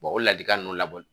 o ladilikan ninnu labɔ